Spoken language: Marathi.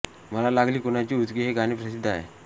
मला लागली कुणाची उचकी हे गाणे प्रसिद्ध आहे